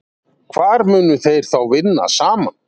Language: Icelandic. Hvar munu þeir þá vinna saman?